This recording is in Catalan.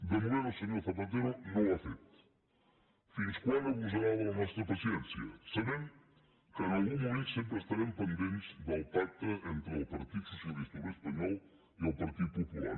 de moment el senyor zapatero no ho ha fet fins quan abusarà de la nostra paciència sabem que en algun moment sempre estarem pendents del pacte entre el partit socialista obrer espanyol i el partit popular